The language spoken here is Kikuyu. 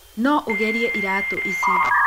No ũgerie iratũ ici.